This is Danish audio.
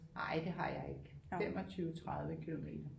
Ej det har jeg ikke 25 30 kilometer